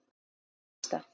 Og þarna gerðist það.